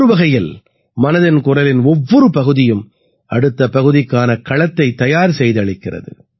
ஒரு வகையில் மனதின் குரலின் ஒவ்வொரு பகுதியும் அடுத்த பகுதிக்கான களத்தைத் தயார் செய்தளிக்கிறது